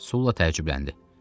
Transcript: Sula təəccübləndi.